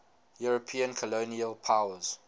european colonial powers